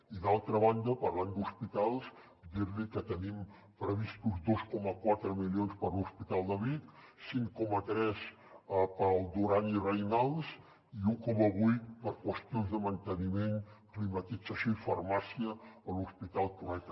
i d’altra banda parlant d’hospitals dir li que tenim previstos dos coma quatre milions per a l’hospital de vic cinc coma tres per al duran i reynals i un coma vuit per a qüestions de manteniment climatització i farmàcia a l’hospital trueta